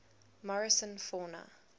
morrison fauna